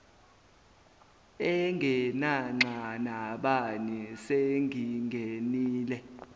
engenanxa nabani sengingenile